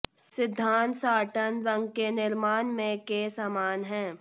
सिद्धांत साटन रंग के निर्माण में के समान है